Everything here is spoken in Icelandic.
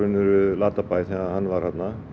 Latabæ þegar hann var þarna